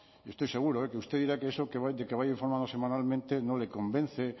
y estoy seguro de que usted dirá que eso de que vaya informando semanalmente no le convence